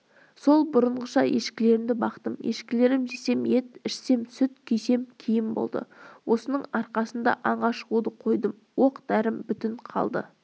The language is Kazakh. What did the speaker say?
сол бұрынғыша ешкілерімді бақтым ешкілерім жесем ет ішсем сүт кисем киім болды осының арқасында аңға шығуды қойдым оқ-дәрім бүтін қалды